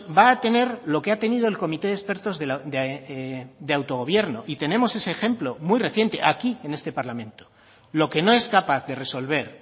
va a tener lo que ha tenido el comité de expertos de autogobierno y tenemos ese ejemplo muy reciente aquí en este parlamento lo que no es capaz de resolver